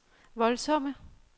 voldsomme